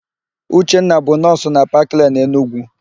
Uchenna bụ nọọsụ na Paklen, Enugwu.